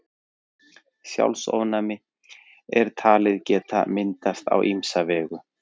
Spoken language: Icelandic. Sjálfsofnæmi er talið geta myndast á ýmsa vegu.